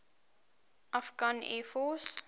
afghan air force